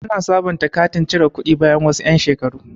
Ana sabonta katin cire kuɗi bayan wasu yan' shekaru.